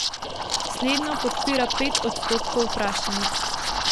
Slednjo podpira pet odstotkov vprašanih.